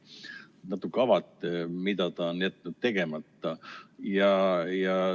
Kas natukene avate, mida ta on jätnud tegemata?